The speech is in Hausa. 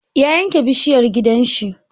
Ya yanke bishiyar gidan shi.